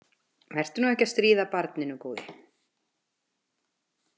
Vertu nú ekki að stríða barninu, góði.